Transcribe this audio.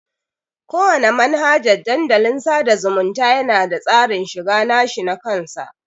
Kowana manhajan Dandalin sada zumunta yana da tsarin shiga nashi nakan sa.